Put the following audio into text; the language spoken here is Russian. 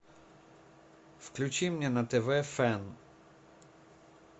включи мне на тв фен